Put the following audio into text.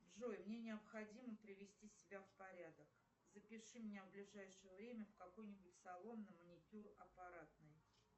джой мне необходимо привести себя в порядок запиши меня в ближайшее время в какой нибудь салон на маникюр аппаратный